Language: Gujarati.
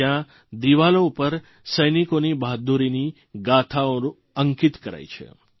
જયાં દિવાલો ઉપર સૈનિકોની બહાદુરીની ગાથાઓ અંકિત કરાઇ છે